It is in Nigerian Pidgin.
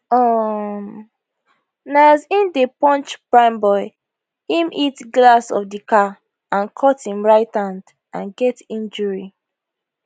um na as im dey punch primeboy im hit glass of di car and cut him right hand and get injury